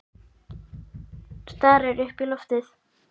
Stari upp í loftið.